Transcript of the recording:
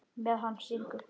Meðan hann syngur.